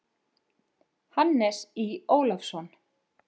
Hannes Í. Ólafsson.